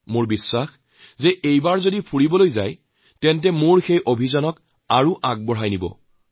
মোৰ বিশ্বাস এবাৰ যদি আপোনালোক ফুৰিবলৈ যায় তেতিয়াহলে মোৰ অভিযানক আপোনালোকে আৰু আগুৱাই লৈ যাব